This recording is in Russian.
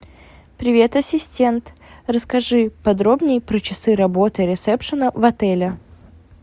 привет ассистент расскажи подробнее про часы работы ресепшена в отеле